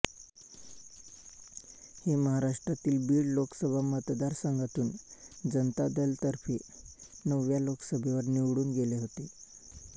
हे महाराष्ट्रातील बीड लोकसभा मतदारसंघातून जनता दलतर्फे नवव्या लोकसभेवर निवडून गेले होते